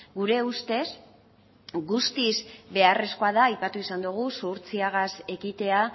gure ustez guztiz beharrezkoa da aipatu izan dugu zuhurtziaz ekitea